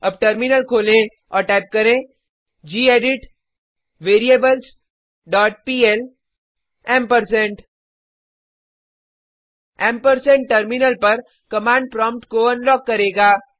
अब टर्मिनल खोलें और टाइप करें gedit variables dot PL ampersand ampersand terminal पर कमांड प्रोम्प्ट को अनलॉक करेगा